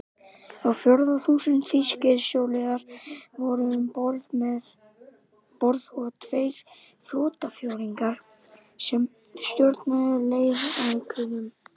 Á fjórða þúsund þýskir sjóliðar voru um borð og tveir flotaforingjar, sem stjórnuðu leiðangrinum.